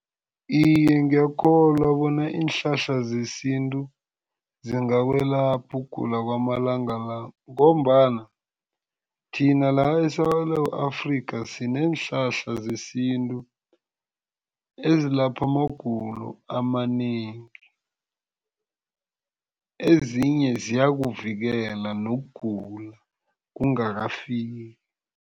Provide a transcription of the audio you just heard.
Iye, ngiyakholwa bona iinhlahla zesintu zingakwelapha ukugula kwamalanga la ngombana thina la eSewula Afrika sineenhlahla zesintu ezilapha amagulo amanengi. Ezinye ziyakuvikela nokugula kungakafiki.